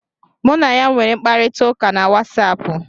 Mụ na ya nwere mkparịta ụka na Watsaapụ.